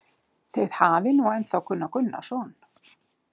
Þið hafið nú ennþá Gunnar Gunnarsson